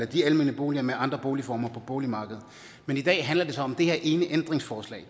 de almene boliger med andre boligformer på boligmarkedet men i dag handler det så om det her ene ændringsforslag